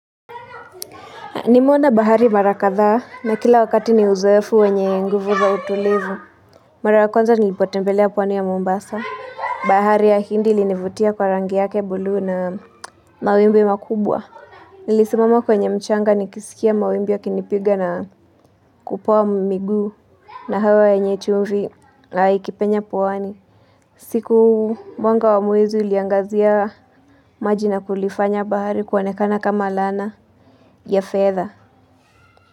Nimeona bahari mara kadhaa na kila wakati ni uzoefu wenye nguvu za utulivu. Mara ya kwanza onza nilipotembelea pwani ya Mombasa. Bahari ya hindi ilinivutia kwa rangi yake buluu na mawimbi makubwa. Nilisimama kwenye mchanga nikisikia mawimbi yakinipiga na kupoa miguu na hewa enye chumvi na ikipenya pwani. Siku mwanga wa mwezi uliangazia maji na kulifanya bahari kuonekana kama lana ya fedha.